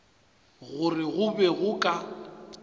gore go be go ka